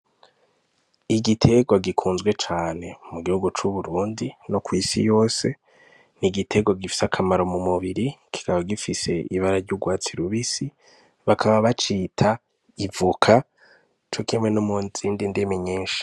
Igitegwa gikunzwe cane mu gihugu c'Uburundi no kw'isi yose ni igitegwa gifise akamaro mu mubiri kikaba ibara ryugwatsi rubisi bakaba bacita 'Ivoka'cokimwe no muzindi ndimi nyinshi.